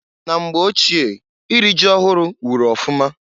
Na mgbe ochie iri ji ọhụrụ wụrụ ọfụma.